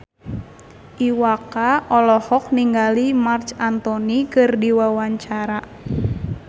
Iwa K olohok ningali Marc Anthony keur diwawancara